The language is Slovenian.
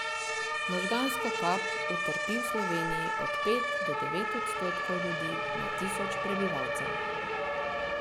Možgansko kap utrpi v Sloveniji od pet do devet odstotkov ljudi na tisoč prebivalcev.